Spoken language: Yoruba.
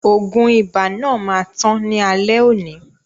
Oògùn ibà náà máa tán ní alẹ́ oni